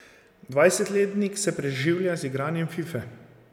Dvajsetletnik se preživlja z igranjem Fife.